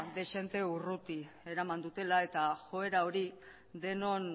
dezente urruti eraman dutela eta joera hori denon